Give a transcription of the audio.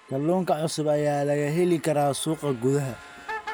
Kalluunka cusub ayaa laga heli karaa suuqa gudaha.